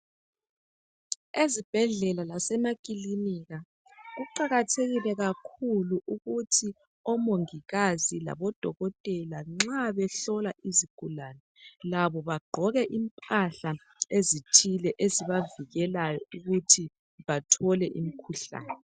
Ezibhedlela lasemakilinika ,kuqakathekile kakhulu ukuthi omongikazi labo dokotela . Nxa behlola izigulane labo bagqoke impahla ezithile .Ezibavikelayo ukuthi bathole imkhuhlane .